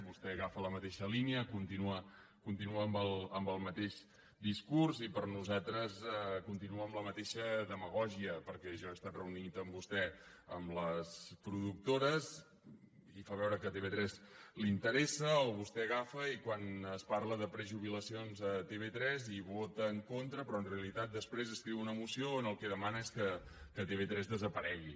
vostè agafa la mateixa línia continua amb el mateix discurs i per nosaltres continua amb la mateixa demagògia perquè jo he estat reunit amb vostè i amb les productores i fa veure que tv3 li interessa o vostè agafa i quan es parla de prejubilacions a tv3 hi vota en contra però en realitat després escriu una moció en què demana que tv3 desaparegui